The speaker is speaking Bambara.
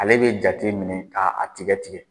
Ale bɛ jate minɛ k'a tigɛ tigɛ.